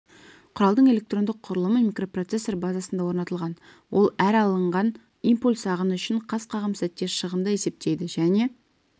құралдың электрондық құрылымы микропроцессор базасында орнатылған ол әр алынған импульс ағыны үшін қас қағым сәтте шығынды есептейді және